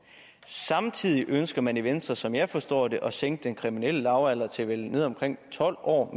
samtidig ønsker man i venstre som jeg forstår det at sænke den kriminelle lavalder til ned omkring tolv år